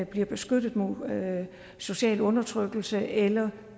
bliver beskyttet mod social undertrykkelse eller